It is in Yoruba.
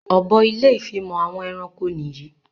Ọ̀bọ ilé ìfimọ̀ àwọn ẹranko nìyí